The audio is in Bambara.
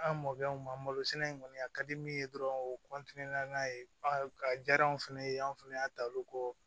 An mɔkɛw ma malosina in kɔni a ka di min ye dɔrɔn o n'a ye a diyar'anw fɛnɛ ye an fɛnɛ y'a ta olu kɔ